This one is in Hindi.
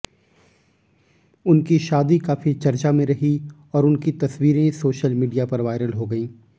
उनकी शादी काफी चर्चा में रही और उनकी तस्वीरें सोशल मीडिया पर वायरल हो गईं